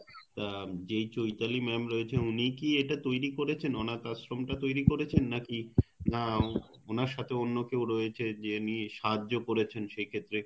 উম যে চৈতালি madam রয়েছে উনিই কি এটা তৈরি করেছেন অনাথ আশ্রম টা তৈরি করেছেন নাকি না ওনার সাথে অন্যকেও রয়েছে যে সাহায্য করেছেন সে ক্ষেত্রে